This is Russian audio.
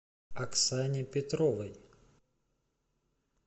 оксане петровой